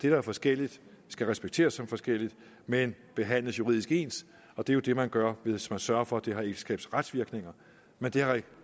er forskelligt skal respekteres som forskelligt men behandles juridisk ens og det er jo det man gør hvis man sørger for at det har ægteskabsretsvirkninger men det har